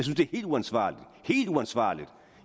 helt uansvarligt helt uansvarligt